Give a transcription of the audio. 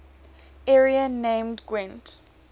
area named gwent